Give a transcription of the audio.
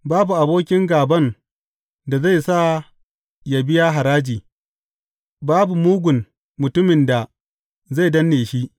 Babu abokin gāban da zai sa yă biya haraji; babu mugun mutumin da zai danne shi.